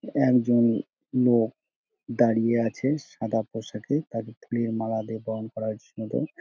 একজন মো দাঁড়িয়ে আছে সাদা পোষাকে তাকে ফুলের মালা দিয়ে বরণ করা জন্য |